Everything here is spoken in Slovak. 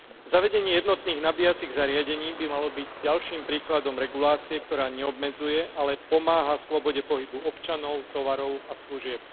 Zavedenie jednotných nabíjacích zariadení by malo byť ďalším príkladom regulácie, ktorá neobmedzuje, ale pomáha slobode pohybu občanov, tovarov a služieb.